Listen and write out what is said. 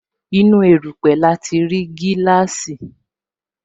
Inú erupe lati ri gíláàsì